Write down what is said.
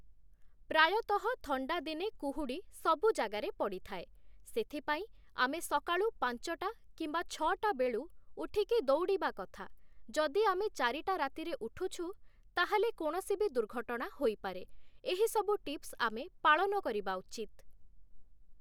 ପ୍ରାୟତଃ ଥଣ୍ଡା ଦିନେ କୁହୁଡ଼ି ସବୁ ଜାଗାରେ ପଡ଼ିଥାଏ, ସେଥିପାଇଁ ଆମେ ସକାଳୁ ପାଞ୍ଚଟା କିମ୍ବା ଛଅ'ଟା ବେଳୁ ଉଠିକି ଦୌଡ଼ିବା କଥା, ଯଦି ଆମେ ଚାରିଟା ରାତିରେ ଉଠୁଛୁ ତାହେଲେ କୌଣସି ବି ଦୁର୍ଘଟଣା ହୋଇପାରେ, ଏହିସବୁ ଟିପ୍ସ ଆମେ ପାଳନ କରିବା ଉଚିତ୍ ।